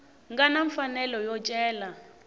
nga na mfanelo yo cela